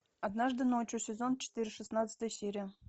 однажды ночью сезон четыре шестнадцатая серия